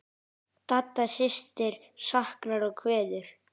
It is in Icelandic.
Dadda systir saknar og kveður.